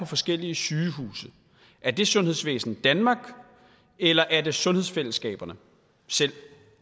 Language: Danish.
forskellige sygehuse er det sundhedsvæsen danmark eller er det sundhedsfællesskaberne selv